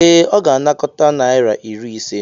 Ee, ọ ga-anakọta naira iri ise.